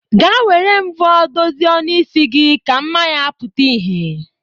Gaa were mvọ dozie ọnụ isi gi ka mma ya pụta ihe.